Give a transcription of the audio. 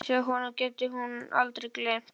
Og hún vissi að honum gæti hún aldrei gleymt.